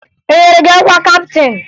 E nyere gị ọkwa kaptịn?